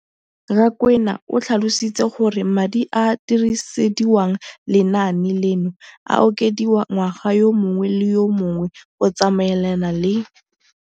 Rakwena o tlhalositse gore madi a a dirisediwang lenaane leno a okediwa ngwaga yo mongwe le yo mongwe go tsamaelana le